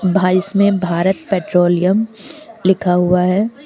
बाहर इसमें भारत पेट्रोलियम लिखा हुआ है।